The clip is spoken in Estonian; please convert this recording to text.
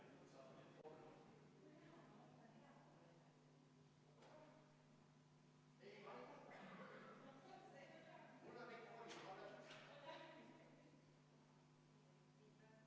Samuti jõuti järeldusele, et sotsiaaldemokraatide ettepanek, millest siin puudust tunti, on jätkuvalt menetluses, kuigi teise eelnõuga seotult, ja seega ei ole kelleltki ära võetud muudatusettepaneku tegemise võimalust või muudatusettepaneku hääletamise võimalust, kui see eelnõu siia saali jõuab.